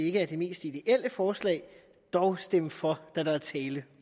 ikke er det mest ideelle forslag dog stemme for da der er tale